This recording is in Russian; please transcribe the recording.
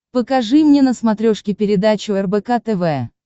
покажи мне на смотрешке передачу рбк тв